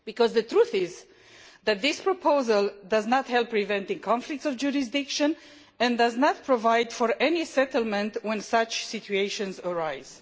The truth is that this proposal does not help prevent any conflicts of jurisdiction, and does not provide for any settlement when such situations arise.